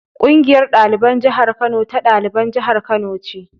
Ƙungiyar ɗaliban jihar Kano ta ɗaliban jihar Kano ce.